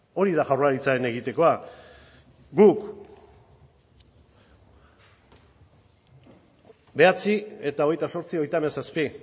hori da jaurlaritzaren egitekoa guk bederatzi eta hogeita zortzi hogeita hamazazpi